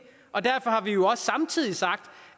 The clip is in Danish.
og derfor har vi jo også samtidig sagt